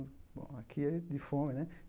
Bom, aqui é de fome, né?